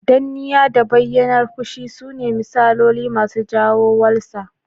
Danniya, da bayyanar fushi sune misaloli masu jawo 'walsa